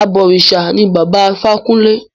Àbọ̀rìṣà ní Bàbá Ifákúnlé.